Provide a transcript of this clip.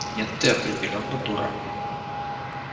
нет ты определённо дурак